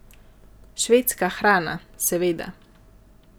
Švedska hrana, seveda.